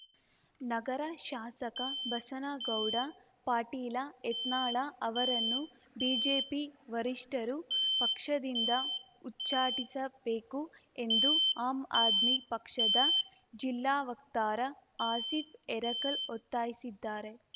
ನಗರ ಶಾಸಕ ಬಸನಗೌಡ ಪಾಟೀಲ ಯತ್ನಾಳ ಅವರನ್ನು ಬಿಜೆಪಿ ವರಿಷ್ಠರು ಪಕ್ಷದಿಂದ ಉಚ್ಚಾಟಿಸಬೇಕು ಎಂದು ಆಮ್‌ ಆದ್ಮಿ ಪಕ್ಷದ ಜಿಲ್ಲಾ ವಕ್ತಾರ ಆಸೀಫ್‌ ಹೆರಕಲ್‌ ಒತ್ತಾಯಿಸಿದ್ದಾರೆ